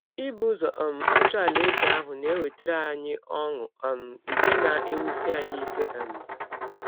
Ibụ ụzọ um achọ Alaeze ahụ na - ewetara anyị ọṅụ um nke na - ewụsi anyị ike um.